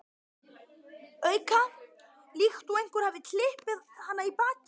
auka, líkt og einhver hafi klipið hana í bakið.